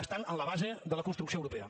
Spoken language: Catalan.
estan en la base de la construcció europea